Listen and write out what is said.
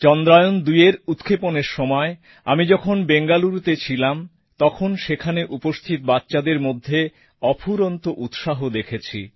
চন্দ্রায়ন২এর উৎক্ষেপণের সময় আমি যখন বেঙ্গালুরুতে ছিলাম তখন সেখানে উপস্থিত বাচ্চাদের মধ্যে অফুরন্ত উৎসাহ দেখেছি